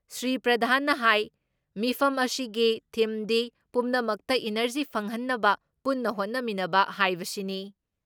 ꯁ꯭ꯔꯤ ꯄ꯭ꯔꯙꯥꯟꯅ ꯍꯥꯏ ꯃꯤꯐꯝ ꯑꯁꯤꯒꯤ ꯊꯤꯝꯗꯤ ꯄꯨꯝꯅꯃꯛꯇ ꯏꯅꯔꯖꯤ ꯐꯪꯍꯟꯅꯕ ꯄꯨꯟꯅ ꯍꯣꯠꯅꯃꯤꯟꯅꯕ ꯍꯥꯏꯕꯁꯤꯅꯤ ꯫